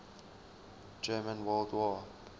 german world war